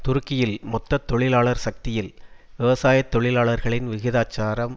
துருக்கியில் மொத்த தொழிலாளர் சக்தியில் விவசாய தொழிலாளர்களின் விகிதாச்சாரம்